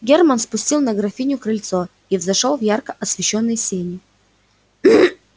германн ступил на графинино крыльцо и взошёл в ярко освещённые сени